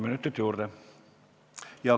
Palun!